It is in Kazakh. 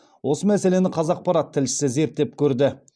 осы мәселені қазақпарат тілшісі зерттеп көрді